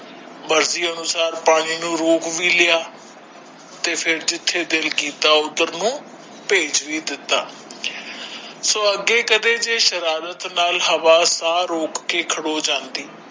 ਮਰਜੀ ਅਨੁਸਾਰ ਪਾਣੀ ਨੂੰ ਰੋਕ ਵੀ ਲਿਆ ਤੇ ਫੇਰ ਜਿੱਥੇ ਦਿਲ ਕੀਤਾ ਉੱਧਰ ਨੂੰ ਭੇਜ ਵੀ ਦਿਤਾ ਸੋ ਅੱਗੇ ਕਦੇ ਜੇ ਸ਼ਰਾਰਤ ਨਾਲ ਹਵਾ ਸਾਹ ਰੋਕ ਕੇ ਖਾਲੋ ਜਾਂਦੀ।